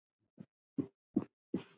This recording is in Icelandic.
Magnús: Af hverju?